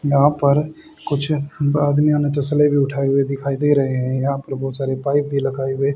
यहां पर कुछ आदमी हमें तसले उठाए हुए दिखाई दे रहे हैं यहां पर बहोत सारे पाइप भी लगाए हुए--